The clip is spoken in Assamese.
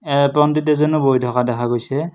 এয়া পণ্ডিত এজনো বহি থকা দেখা গৈছে।